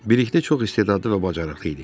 Bilikli çox istedadlı və bacarıqlı idi.